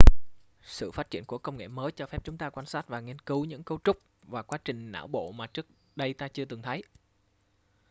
sự phát triển của công nghệ mới cho phép chúng ta quan sát và nghiên cứu những cấu trúc và quá trình não bộ mà trước đây ta chưa từng thấy